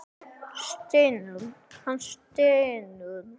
Hann stynur.